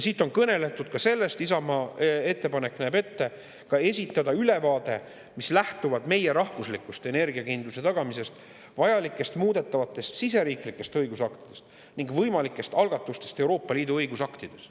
Siit on kõneldud ka sellest, Isamaa ettepanek näeb ette ka esitada ülevaade, mis lähtub meie rahvuslikust energiakindluse tagamisest, vajalikest muudetavatest siseriiklikest õigusaktidest ning võimalikest algatustest Euroopa Liidu õigusaktides.